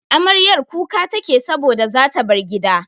Amaryar kuka take saboda zata bar gida.